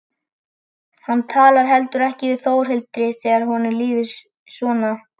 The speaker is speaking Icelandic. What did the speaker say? Hann talar heldur ekki við Þórhildi þegar honum líður svona.